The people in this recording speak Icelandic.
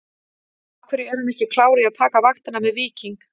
Af hverju er hann ekki klár í að taka vaktina með Víking?